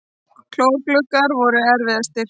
Kórgluggarnir voru erfiðastir.